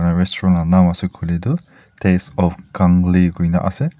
restuarant naam ase koiley toh taste of kanglei koi kena ase.